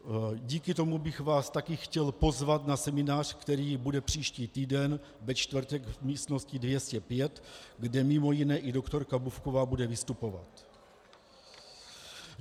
Díky tomu bych vás také chtěl pozvat na seminář, který bude příští týden ve čtvrtek v místnosti 205, kde mimo jiné i doktorka Bufková bude vystupovat.